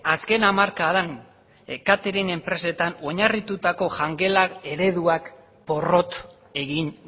azken hamarkadan katering enpresetan oinarritutako jangelak ereduak porrot egin